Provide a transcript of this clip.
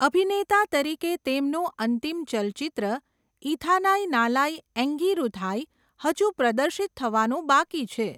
અભિનેતા તરીકે તેમનું અંતિમ ચલચિત્ર ઇથાનાઈ નાલાઈ એંગિરુથાઈ હજુ પ્રદર્શિત થવાનું બાકી છે.